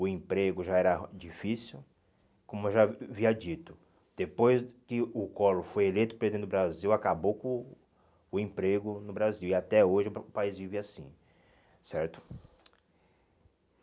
o emprego já era difícil, como eu já havia dito, depois que o Collor foi eleito presidente do Brasil, acabou com o o emprego no Brasil, e até hoje o pa o país vive assim, certo?